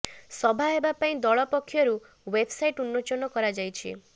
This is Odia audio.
ସଭ୍ୟ ହେବା ପାଇଁ ଦଳ ପକ୍ଷରୁ େବବସାଇଟ ଉନ୍ମୋଚନ କରାଯାଇଛି